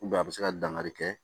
a bɛ se ka dangari kɛ